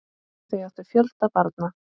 Þau áttu fjölda barna.